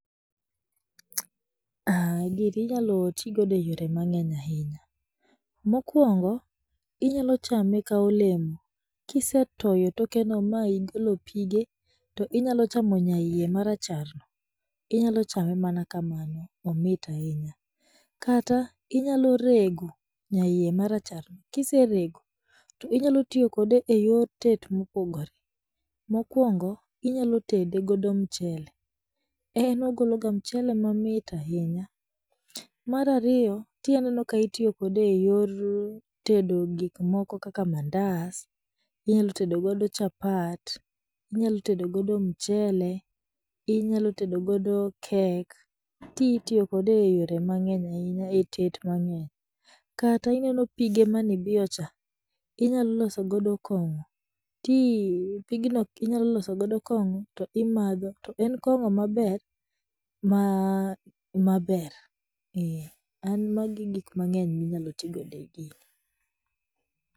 Gini inyalotigodo e yore mang'eny ahinya, Mokwongo, inyalochame ka olemo kisetoyo tokeno ma igolo pige, to inyalochamo nyaiye maracharno, inyalochame mana kamano, omit ahinya, kata inyalorego nyaiye maracharno, kiserego to inyalotiyo kode e yor tet mopogore, mokwongo, inyalotede godo mchele, en ogologa mchele mamit ahinya, mar ariyo tii aneno ka itiyokode e yor tedo gikmoko kaka mandas, inyalotedogodo chapat, inyalotedogodo mchele, inyalotedogodo cake, tii itiyokode eyore mang'eny ahinya e tet mang'eny, kata ineno pige maneibiyocha, inyaloloso godo kong'o, tii pigno inyaloloso godo kong'o to imadho to en kong'o maber, maa maber ee an mago e gikmang'eyo minyalotigodo e gini.